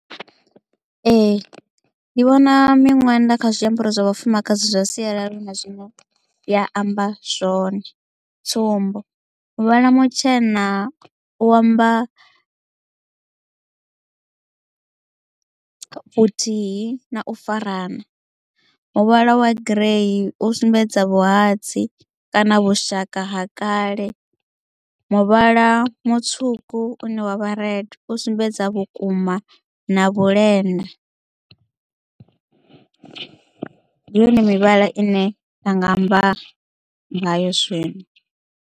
Ee ndi vhona miṅwenda kha zwiambaro zwa vhafumakadzi zwa sialala hu na zwine ya amba zwone tsumbo muvhala mutshena u amba vhuthihi na u farana muvhala wa grey u sumbedza vhuhadzi kana vhushaka ha kale muvhala mutswuku une wavha red u sumbedza vhukuma na vhulenda ndi yone mivhala ine nda nga amba ngayo zwino.